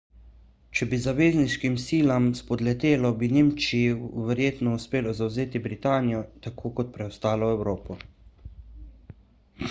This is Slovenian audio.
če bi zavezniškim silam spodletelo bi nemčiji verjetno uspelo zavzeti britanijo tako kot preostalo evropo